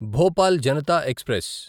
Bhopal Janata express